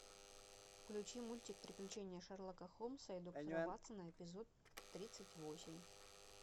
включи мультик приключения шерлока холмса и доктора ватсона эпизод тридцать восемь